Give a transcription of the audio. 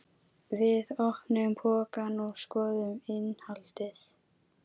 Við opnuðum pokann og skoðuðum innihaldið.